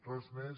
res més